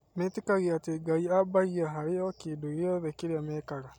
Metĩkagia atĩ Ngai ambaagia harĩ o kĩndũ gĩothe kĩrĩa mekaga.